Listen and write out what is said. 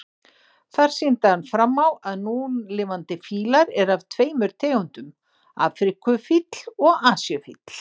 Þar sýndi hann fram á að núlifandi fílar eru af tveimur tegundum, afríkufíll og asíufíll.